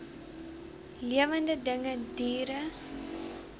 lewende dinge diere